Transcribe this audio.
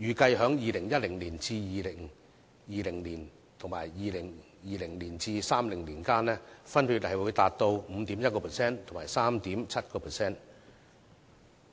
預計在2010年至2020年及2020年至2030年間，分別達 5.1% 和 3.7%。